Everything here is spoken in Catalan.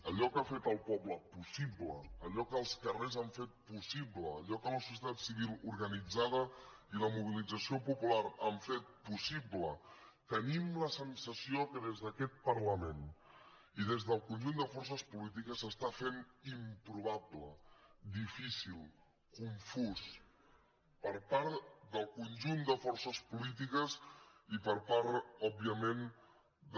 allò que ha fet el poble possible allò que els carrers han fet possible allò que la societat civil organitzada i la mobilització popular han fet possible tenim la sensació que des d’aquest parlament i des del conjunt de forces polítiques s’està fent improbable difícil confús per part del conjunt de forces polítiques i per part òbviament de